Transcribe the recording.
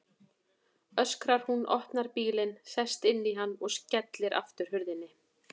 öskrar hún, opnar bílinn, sest inn í hann og skellir aftur hurðinni.